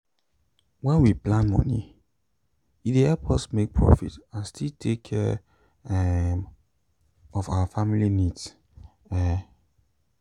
wen we plan mini e dey help us make profit and still take care um of our family needs. um